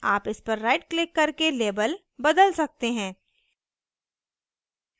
आप इस पर right क्लिक करके label बदल सकते हैं